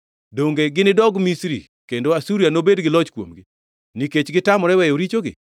“Donge ginidog Misri kendo Asuria nobedi gi loch kuomgi, nikech gitamore weyo richogi?